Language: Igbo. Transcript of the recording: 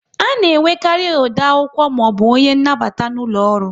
A na enwekarị ode akwụkwọ maọbụ onye nnabata n'ụlọ ọrụ